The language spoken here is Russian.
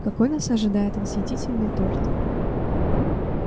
какой нас ожидает восхитительный торт